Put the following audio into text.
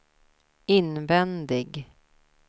invändig